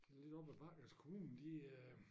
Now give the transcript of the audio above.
Lidt op ad bakke hvis kommunen de øh